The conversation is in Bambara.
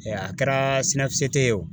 Ɛɛ a kɛra sinɛfusete ye o